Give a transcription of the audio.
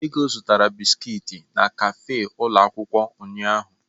Ego zụtara bisiki n'kafe ụlọ akwụkwọ ụnyahụ.